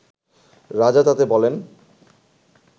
রাজা তাতে বললেন